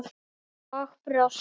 Og brosti.